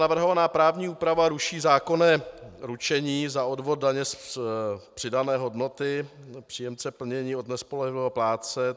Navrhovaná právní úprava ruší zákonné ručení za odvod daně z přidané hodnoty příjemce plnění od nespolehlivého plátce.